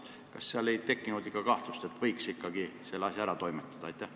Kas komisjonis ei tekkinud mõtet, et võiks siiski selle asja ära toimetada?